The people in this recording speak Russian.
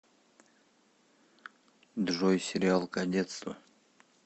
джой сериал кадетство